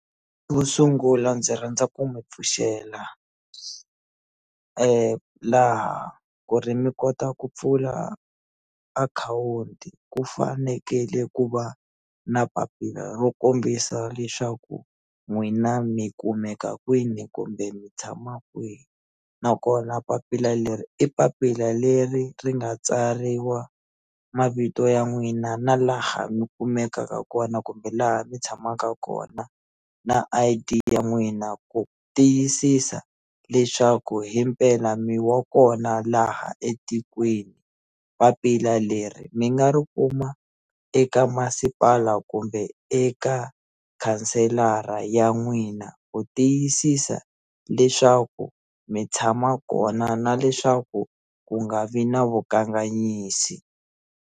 Vo sungula ndzi rhandza ku mi pfuxela laha ku ri mi kota ku pfula akhawunti ku fanekele ku va na papila ro kombisa leswaku n'wina mi kumeka kwini kumbe mi tshama kwihi nakona papila leri i papila leri ri nga tsariwa mavito ya n'wina na laha mi kumekaka kona kumbe laha mi tshamaka kona na I_D ya n'wina ku tiyisisa leswaku hi mpela mi wa kona laha etikweni papila leri mi nga ri kuma eka masipala kumbe eka khanselara ya n'wina ku tiyisisa leswaku mi tshama kona na leswaku ku nga vi na vukanganyisi.